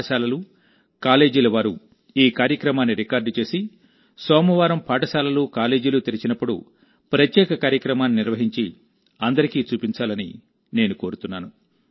పాఠశాలలు కాలేజీల వారు ఈ కార్యక్రమాన్ని రికార్డ్ చేసి సోమవారం పాఠశాలలు కాలేజీలు తెరిచినప్పుడు ప్రత్యేక కార్యక్రమాన్ని నిర్వహించి అందరికీ చూపించాలని నేను కోరుతున్నాను